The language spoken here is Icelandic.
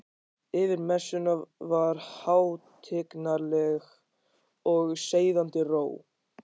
Yfir messunni var hátignarleg og seiðandi ró.